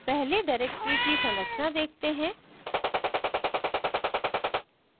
पहले directory की संरचना देखते हैं